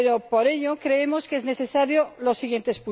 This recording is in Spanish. Por ello, creemos que es necesario lo siguiente.